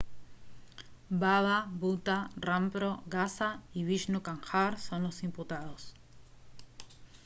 baba bhutha rampro gaza y vishnu kanjar son los imputados